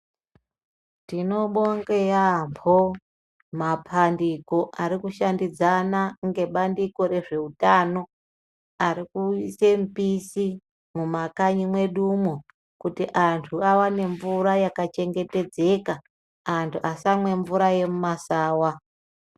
Tinobonge yaampo mapandiko ari kushandidzana ngebandiko rezveutano ari kuise mupisi mumakanyi mwedumwo kuti antu awane mvura yakachengetedzeka antu asamwe mvura yemumasawa.